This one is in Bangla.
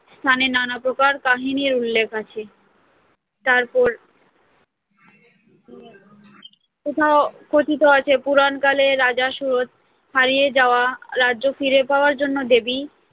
স্থানে নানা প্রকার কাহিনীর উল্লেখ আছে তারপর কোথাও কোথাও কথিত আছে, পুরাকালে রাজা সুরথ তার হারিয়ে যাওয়া রাজ্য ফিরে পাওয়ার জন্য দেবী